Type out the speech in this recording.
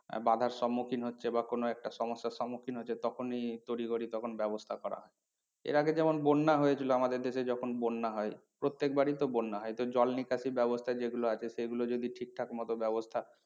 আহ বাঁধার সম্মুখীন হচ্ছে বা কোনো একটা সমস্যার সম্মুখীন হচ্ছে তখনই তড়িঘড়ি তখনই ব্যবস্থা করা হয়। এর আগে যেমন বন্যা হয়েছিল আমাদের দেশে যখন বন্যা হয়। প্রত্যেকবারই তো বন্যা হয় তো জল নিকাশি ব্যবস্থা যেগুলো আছে সেগুলো যদি ঠিকঠাক মতো ব্যবস্থা